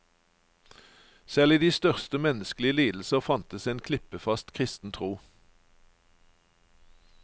Selv i de største menneskelige lidelser fantes en klippefast kristen tro.